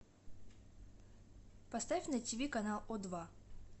поставь на ти ви канал о два